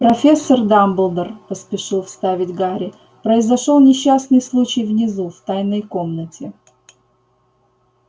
профессор дамблдор поспешил вставить гарри произошёл несчастный случай внизу в тайной комнате